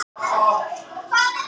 En allir virðast fagna verðinu.